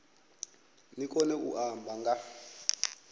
ni kone u amba nga